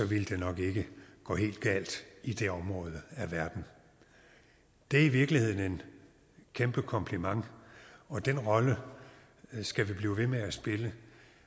ville det nok ikke gå helt galt i det område af verden det er i virkeligheden en kæmpe kompliment og den rolle skal vi blive ved med at spille